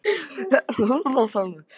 Svo þetta var allt heldur snúið.